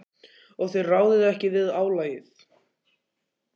Og þið ráðið ekki við álagið?